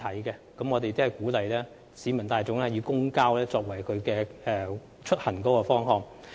政府鼓勵市民大眾以公共交通作為出行方法。